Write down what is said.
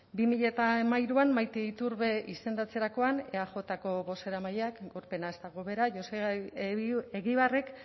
bi mila hamairuan maite iturbe izendatzarekoan eajko bozeramaileak pena ez dago bera joseba egibarrek